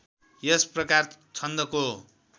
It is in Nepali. यस प्रकार छन्दको